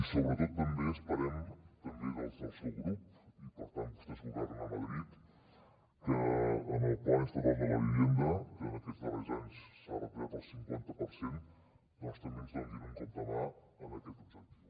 sobretot també esperem també des del seu grup ja que vostès governen a madrid que amb el plan estatal de la vivienda que en aquests darrers anys s’ha retallat el cinquanta per cent també ens donin un cop de mà en aquest objectiu